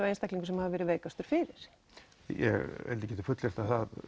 einstaklingur sem hafi verið veikastur fyrir ég get fullyrt